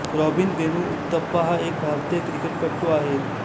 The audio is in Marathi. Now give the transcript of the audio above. राॅबिन वेणु उत्तपा हा एक भारतीय क्रिकेटपटू आहे